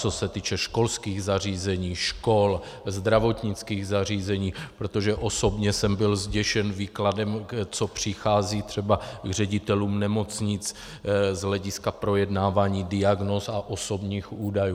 Co se týče školských zařízení, škol, zdravotnických zařízení, protože osobně jsem byl zděšen výkladem, co přichází třeba k ředitelům nemocnic z hlediska projednávání diagnóz a osobních údajů.